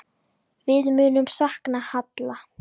Við munum sakna Halla.